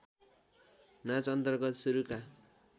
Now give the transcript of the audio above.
नाच अन्तर्गत सुरुका